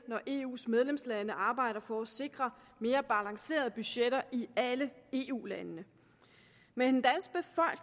når eus medlemslande arbejder for at sikre mere balancerede budgetter i alle eu landene men